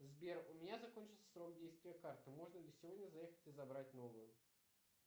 сбер у меня закончился срок действия карты можно ли сегодня заехать и забрать новую